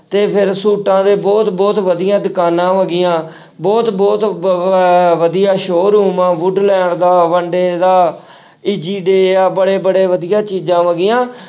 ਤੇ ਫਿਰ ਸੂਟਾਂ ਦੇ ਬਹੁਤ ਬਹੁਤ ਵਧੀਆ ਦੁਕਾਨਾਂ ਹੋ ਗਈਆਂ ਬਹੁਤ ਬਹੁਤ ਵ~ ਵਧੀਆ showroom ਆ ਵੁਡਲੈਂਡ ਦਾ ਦਾ ਆ ਬੜੇ ਬੜੇ ਵਧੀਆ ਚੀਜ਼ਾਂ ਹੈਗੀਆਂ।